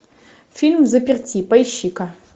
фильм взаперти поищи ка